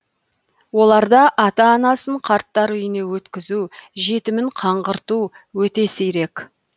оларда ата анасын қарттар үйіне өткізу жетімін қаңғырту өте сирек